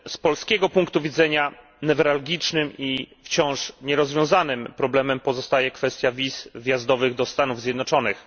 Z polskiego punktu widzenia newralgicznym i wciąż nierozwiązanym problemem pozostaje kwestia wiz wjazdowych do Stanów Zjednoczonych.